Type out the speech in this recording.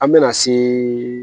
An mɛna se